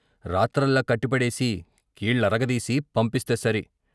రాత్రల్లా కట్టిపడేసి, కీళ్ల అరగదీసి పంపిస్తే సరి.